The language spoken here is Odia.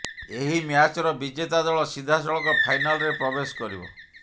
ଏହି ମ୍ୟାଚ୍ର ବିଜେତା ଦଳ ସିଧାସଳଖ ଫାଇନାଲରେ ପ୍ରବେଶ କରିବ